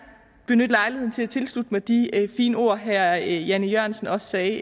benytte lejligheden til at tilslutte mig de fine ord herre jan e jørgensen også sagde